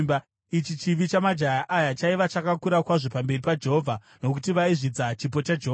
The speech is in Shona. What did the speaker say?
Ichi chivi chamajaya aya chaiva chakakura kwazvo pamberi paJehovha, nokuti vaizvidza chipo chaJehovha.